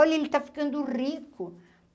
Olha, ele está ficando rico!